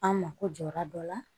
An mako jɔra dɔ la